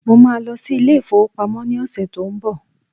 Mo máa lọ sí ilé ìfowópamọ́ ní ọ̀sẹ̀ tó ń bọ̀